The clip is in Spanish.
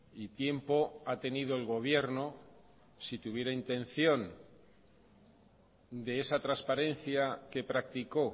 y tiempo ha tenido el gobierno si tuviera intención de esa transparencia que practicó